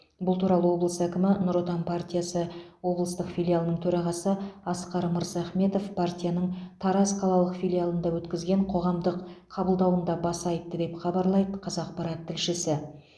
бұл туралы облыс әкімі нұр отан партиясы облыстық филиалының төрағасы асқар мырзахметов партияның тараз қалалық филиалында өткізген қоғамдық қабылдауында баса айтты деп хабарлайды қазақпарат тілшісі